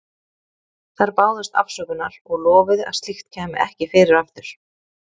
Þær báðust afsökunar og lofuðu að slíkt kæmi ekki fyrir aftur.